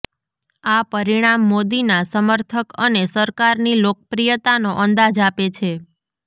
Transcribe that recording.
આ પરિણામ મોદીના સમર્થક અને સરકારની લોકપ્રિયતાનો અંદાજ આપે છે